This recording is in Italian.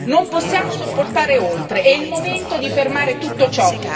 Non possiamo sopportare oltre, è il momento di fermare tutto ciò.